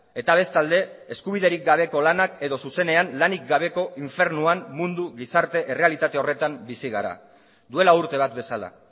eta bestalde eskubiderik gabeko lanak edo zuzenean lanik gabeko infernuan mundu gizarte errealitate horretan bizi gara duela urte bat bezala